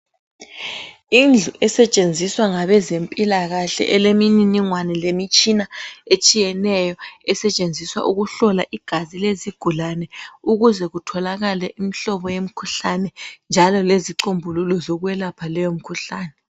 Indlu esetshenziswa ngabezempilakahle elemininingwane lemitshina etshiyeneyo esetshenziswa ukuhlola igazi lezigulane ukuze kutholakale imihlobo yemkhuhlane njalo lezicombululo zokwelapha leyo mikhuhlane.